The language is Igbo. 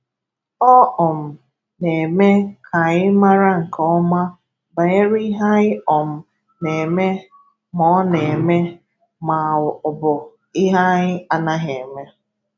Ọ um na-eme ka anyị mara nke ọma banyere ihe anyị um na-eme ma ọ na-eme ma ọ bụ ihe anyị anaghị eme.